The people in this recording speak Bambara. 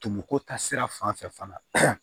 Tumu ko ta sira fan fɛ fana